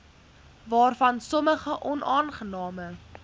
waarvan sommige onaangename